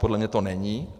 Podle mě to není.